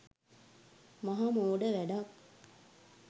මහ මෝඩ වැඩක්.